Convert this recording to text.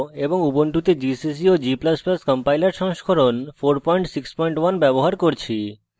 এবং ubuntu gcc ও g ++ compiler সংস্করণ 461 ব্যবহার করছি